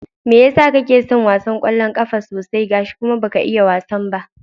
Mai yasa kake son wasan ƙwallon ƙafa haka sosai, gashi kuma baka iya wasan ba?